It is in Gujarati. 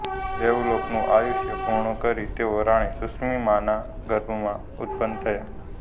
દેવલોકનું આયુષ્ય પૂર્ણ કરી તેઓ રાણી સુષિમાના ગર્ભમાં ઉત્પન્ન થયા